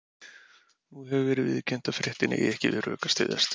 Nú hefur verið viðurkennt að fréttin eigi ekki við rök að styðjast.